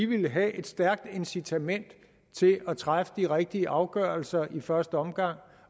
ville have et stærkt incitament til at træffe de rigtige afgørelser i første omgang